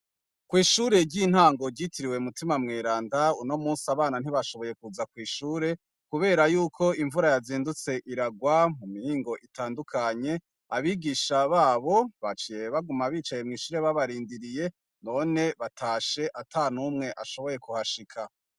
Kw'ishure ry'intango ryitiriwe mutima mweranda, uno musi abana ntibashoboye kuza kw'ishure, kubera yuko imvura yazindutse iragwa mu mihingo itandukanye, abigisha babo baciye baguma bicaye mw'ishure babarindiriye, none batashe atanumwe ashoboye kuhashira.